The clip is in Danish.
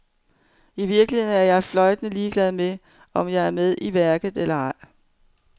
I virkeligheden er jeg fløjtende ligeglad med, om jeg er med i værket eller ej.